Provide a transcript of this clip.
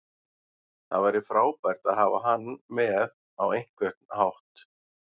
Það væri frábært að hafa hann með á einhvern hátt.